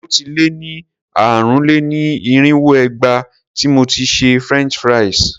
Ó ti lé ní ààrùn-lé-ní-irínwó ìgbà tí mo ti ṣe French fries.